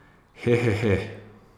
He, he, he.